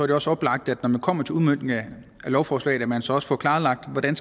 det også oplagt når man kommer til udmøntningen af lovforslaget at man så også får klarlagt hvordan